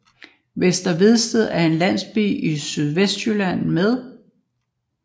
Vester Vedsted er en landsby i Sydvestjylland med